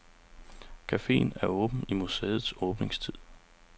Caféen er åben i museets åbningstid.